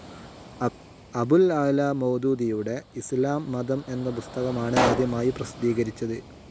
അബുൽ അഅ്‌ലാ മൗദൂദിയുടെ ഇസ്ലാംമതം എന്ന പുസ്തകമാണ് ആദ്യമായി പ്രസിദ്ധീകരിച്ചത്.